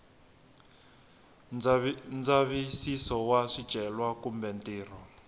ndzavisiso wa swicelwa kumbe ntirho